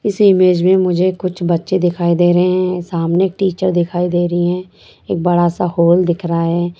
इस ईमेज में मुझे कुछ बच्चे दिखाई दे रहे हैं सामने एक टीचर दिखाई दे रही है एक बड़ा सा हॉल दिख रहा है।